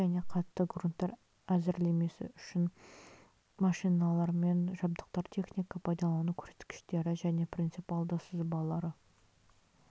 тығыз және қатты грунттар әзірлемесі үшін машиналары мен жабдықтар техника пайдалану көрсеткіштері және принципиалды сызбалары